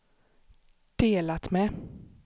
delat med